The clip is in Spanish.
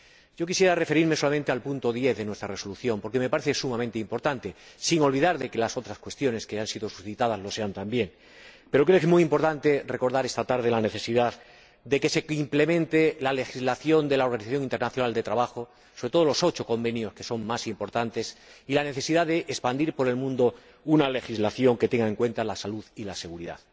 Yo quisiera referirme solamente al punto 10 de nuestra Resolución, porque me parece sumamente importante, sin olvidar que las otras cuestiones que han sido suscitadas lo son también. Pero creo que es muy importante recordar esta tarde la necesidad de que se implemente la legislación de la Organización Internacional de Trabajo, sobre todo los ocho convenios que son más importantes, y la necesidad de expandir por el mundo una legislación que tenga en cuenta la salud y la seguridad,